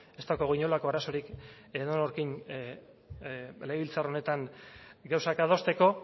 ez daukagu inolako arazorik edonorrekin legebiltzar honetan gauzak adosteko